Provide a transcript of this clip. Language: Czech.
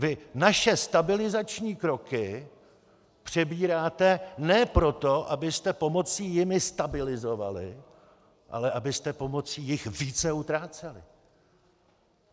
Vy naše stabilizační kroky přebíráte ne proto, abyste pomocí jimi stabilizovali, ale abyste pomocí jich více utráceli.